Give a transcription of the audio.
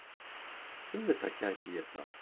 Auðvitað gæti ég það.